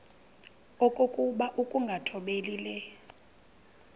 okokuba ukungathobeli le